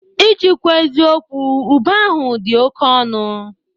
Iji kwuo eziokwụ, ube ahụ dị oke ọnụ